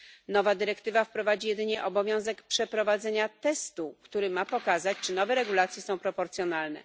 Nowa dyrektywa wprowadzi jedynie obowiązek przeprowadzenia testu, który ma pokazać, czy nowe regulacje są proporcjonalne.